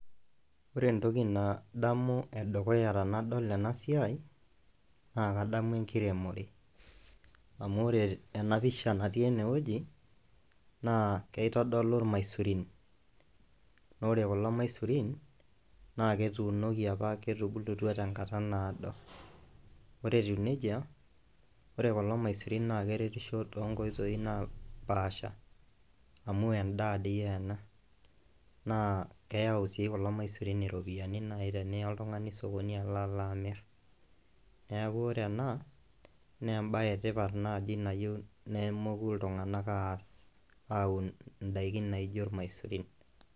Ore entoki nadamu edukuya tenadol ena siai naa kadamu enkiremore, amu ore ena pisha natii enewueji naa kitodolu irmaisurin naa ore kulo maisurin naa ketuunoki apa, ketubulutua tenkata naado ore etiu neija ore kulo maisurin naa keretisho toonkoitoi naapaasha amu endaa toi ena naa keyau sii kulo maisurin iropiyiani naai teniya oltung'ani esokoni alo alo amirr, neeku ore ena naa embaye etipat naaji nayieu nemoku iltung'anak aas aun ndaiki naaijo irmaisurin.